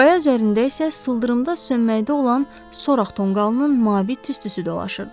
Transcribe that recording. Qaya üzərində isə sıldırımda sönməkdə olan soraq tonqalının mavi tüstüsü dolaşırdı.